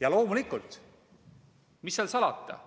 Ja loomulikult, mis seal salata,